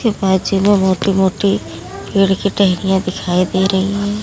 Image में मोटी मोटी पेड़ की टहनियाँ दिखाई दे रही हैं।